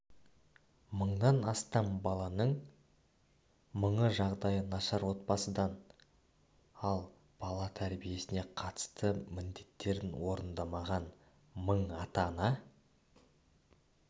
мыңнан астам баланың мыңы жағдайы нашар отбасыдан ал бала тәрбиесіне қатысты міндеттерін орындамаған мың ата-ана